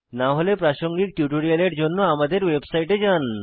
না হলে প্রাসঙ্গিক টিউটোরিয়ালের জন্য আমাদের ওয়েবসাইতে যান